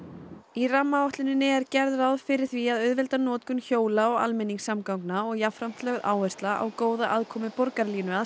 í rammaáætluninni er gert ráð fyrir því að auðvelda notkun hjóla og almenningssamgangna og jafnframt lögð áhersla á góða aðkomu Borgarlínu að